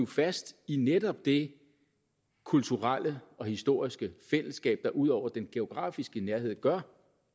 fast i netop det kulturelle og historiske fællesskab der ud over den geografiske nærhed gør